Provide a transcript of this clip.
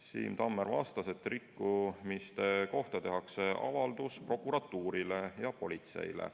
Siim Tammer vastas, et rikkumiste kohta tehakse avaldus prokuratuurile ja politseile.